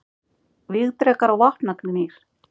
Vígdrekar og vopnagnýr.